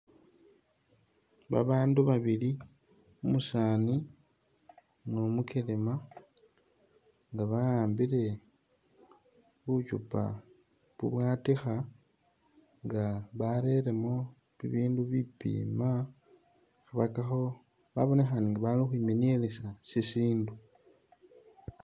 Babaandu babili umusaani ni umukelema nga ba'ambile buchupa bubwatikha nga bareremo bibindu bipiima khabakhakakho babonekhaana nga bali ukhwimenielesa sisindu.